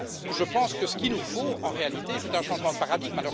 Je pense que ce qu'il nous faut, en réalité, c'est un changement de paradigme.